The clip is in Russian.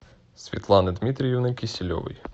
светланы дмитриевны киселевой